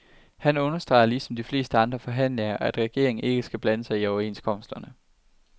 Han understreger, ligesom de fleste andre forhandlere, at regeringen ikke skal blande sig i overenskomsterne.